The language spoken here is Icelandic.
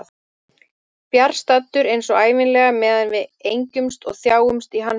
Fjarstaddur eins og ævinlega meðan við engjumst og þjáumst í hans nafni.